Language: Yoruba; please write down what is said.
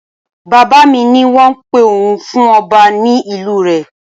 Bàbá mi ní wọ́n ń pe òun fún ọba ní ìlú rẹ.